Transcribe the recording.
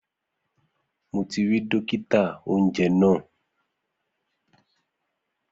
Mo ti ri dókítà-oúnjẹ náà